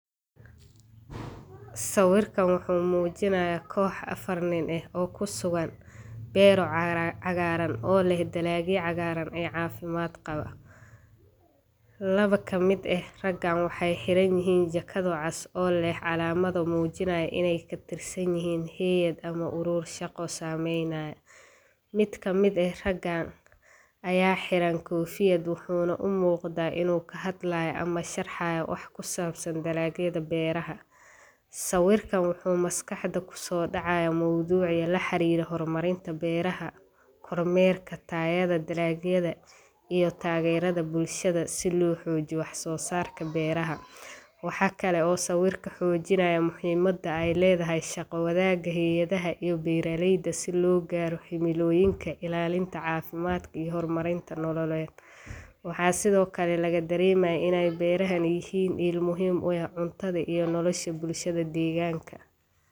Sawiirkaan wuxuu mujinaaya koox afar nin ah oo kusugan beero cagaaran oo leh dalaagyo cagaaran oo cafimaad qaba, laba kamid ah ragaan waxeey xiran yihiin jakado cas oo leh calaamad muujinayo ineey katirsan yihiin haayad ama uruur shaqo, mid kamid ah ragaan, ayaa xiran koofiyad, wuxuuna umuuqda inuu kahadlaayo ama sharxaayo wax ku saabsan dalaagyada beeraha, sawiirkaan wuxuu maskaxda kusoo dacaaya mowduuci laxariire hor marinta beeraha, kor meerka tayada dalaagyada, iyo taagerida bulshada si loo xoojiyo wax soo saarka beeraha, waxaa kale uu sawiirka xoojinaaya muhiimada aay ledahay, shaqa wadaaga haayadaha iyo beeraleyda si loo gaaro himilooyinka ilaalinta cafimaad iyo hor marinta nololeed, waxaa sido kale laga dareema inaay beerahan yihiin mid muhiim u ah cuntada iyo nolosha bulshada deeganka.